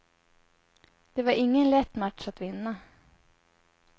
Det var ingen lätt match att vinna.